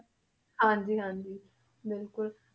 ਹਾਂਜੀ ਹਾਂਜੀ ਬਿਲਕੁਲ